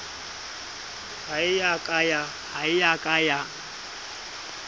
ha e ya ka ya